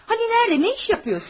Bəs harada, nə iş görürsən?